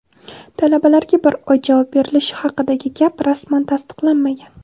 Talabalarga bir oy javob berilishi haqidagi gap rasman tasdiqlanmagan.